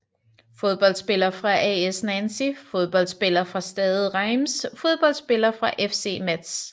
Fodboldspillere fra AS Nancy Fodboldspillere fra Stade Reims Fodboldspillere fra FC Metz